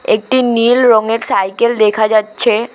একটি নীল রঙের সাইকেল দেখা যাচ্ছে।